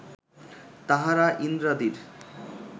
তাঁহারা ইন্দ্রাদির